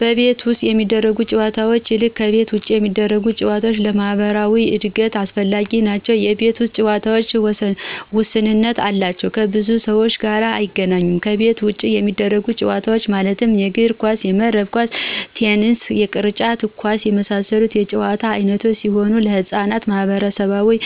ከቤት ውስጥ ከሚደረጉ ጨዎታዎች ይልቅ ከቤት ውጭ የሚደረጉ ጨዎታዎች ለማህበራዊ እድገት አስፈላጊዎች ናቸው የቤት ውስጥ ጨዎታዎች ውስንነት አላቸው ከብዙ ሰዎች ጋር አያገናኙም ከቤት ውጭ የሚደረጉት ጨዎታዎች ማለትም የእግር ኳስ :የመረብ ኳስ :ቴንስ የቅርጫት ኳስ የመሳሰሉት የጨዎታ አይነቶች ሲሆኑ ለህጻናት ማህበራዊ